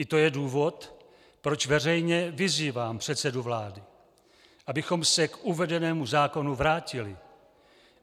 I to je důvod, proč veřejně vyzývám předsedu vlády, abychom se k uvedenému zákonu vrátili.